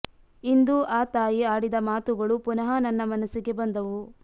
ಇಂದು ಆ ತಾಯಿ ಆಡಿದ ಮಾತುಗಳು ಪುನಃ ನನ್ನ ಮನಸ್ಸಿಗೆ ಬಂದವು